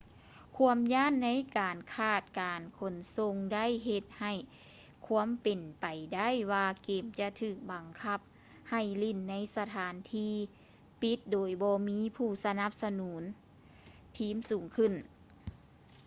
ຄວາມຢ້ານໃນການຂາດການຂົນສົ່ງໄດ້ເຮັດໃຫ້ຄວາມເປັນໄປໄດ້ວ່າເກມຈະຖືກບັງຄັບໃຫ້ຫຼິ້ນໃນສະຖານທີ່ປິດໂດຍບໍ່ມີຜູ້ສະໜັບສະໜູນທີມສູງຂຶ້ນ